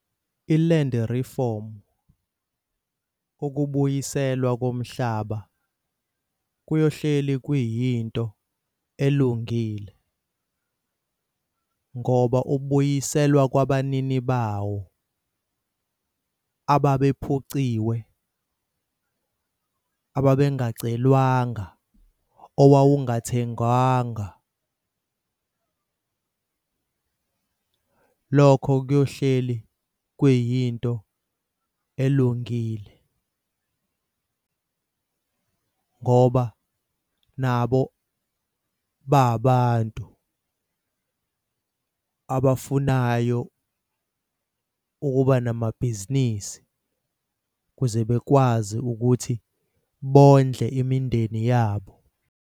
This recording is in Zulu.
I-land reform, ukubuyiselwa komhlaba kuyohleli kuyinto elungile ngoba ubuyiselwa kwabanini bawo ababephuciwe, ababengacelwanga, owawungathengwanga. Lokho kuyohleli kwiyinto elungile ngoba nabo babantu abafunayo ukuba namabhizinisi ukuze bekwazi ukuthi bondle imindeni yabo.